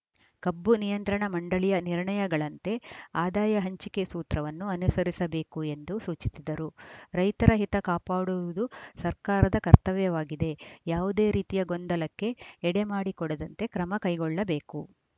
ಕಬ್ಬು ನಿಯಂತ್ರಣ ಮಂಡಳಿಯ ನಿರ್ಣಯಗಳಂತೆ ಆದಾಯ ಹಂಚಿಕೆ ಸೂತ್ರವನ್ನು ಅನುಸರಿಸಬೇಕು ಎಂದೂ ಸೂಚಿಸಿದರು ರೈತರ ಹಿತ ಕಾಪಾಡುವುದು ಸರ್ಕಾರದ ಕರ್ತವ್ಯವಾಗಿದೆ ಯಾವುದೇ ರೀತಿಯ ಗೊಂದಲಕ್ಕೆ ಎಡೆ ಮಾಡಿಕೊಡದಂತೆ ಕ್ರಮ ಕೈಗೊಳ್ಳಬೇಕು